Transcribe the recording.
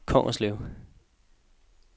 Kongerslev